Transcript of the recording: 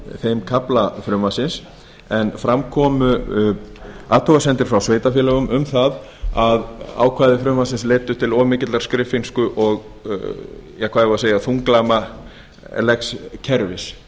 þeim kafla frumvarpsins en fram komu athugasemdir frá sveitarfélögunum um það að ákvæði frumvarpsins leiddu til of mikillar skriffinsku og hvað eigum við að segja þunglamalegs kerfis